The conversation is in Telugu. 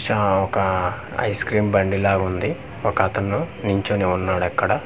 చా ఒక ఐస్ క్రీమ్ బండి లాగుంది ఒక అతను నించుని వున్నాడు అక్కడ--